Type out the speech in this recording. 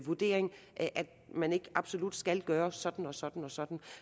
vurdering og at man ikke absolut skal gøre sådan og sådan og sådan